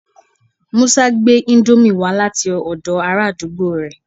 Musa gbe Indomie wa lati odo ara àdúgbò re